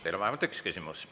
Teile on vähemalt üks küsimus.